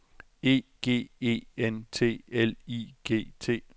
E G E N T L I G T